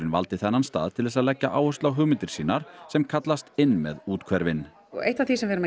valdi þennan stað til þess að leggja áherslu á hugmyndir sínar sem kallast inn með úthverfin eitt af því sem við erum